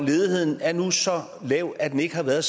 ledigheden er nu så lav at den ikke har været